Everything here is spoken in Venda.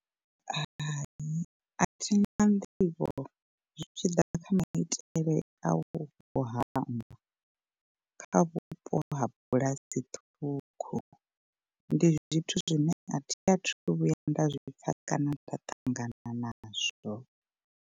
Hai athi na nḓivho zwi tshi ḓa kha maitele a u vho hama, kha vhupo ha bulasi ṱhukhu ndi zwithu zwine athi athu vhuya nda zwipfa kana nda ṱangana nazwo.